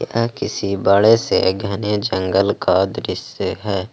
यह किसी बड़े से घने जंगल का दृश्य है।